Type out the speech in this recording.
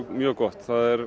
mjög gott